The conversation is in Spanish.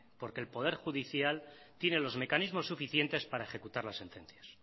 porque el poder judicial tiene los mecanismos suficientes para ejecutar las sentencias